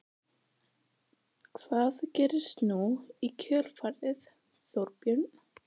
Edda Andrésdóttir: Hvað gerist nú í kjölfarið Þorbjörn?